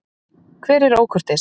Hver er ókurteis?